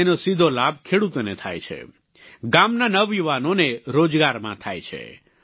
તેનો સીધો લાભા ખેડૂતોને થાય છે ગામનાં નવયુવાનોને રોજગારમાં થાય છે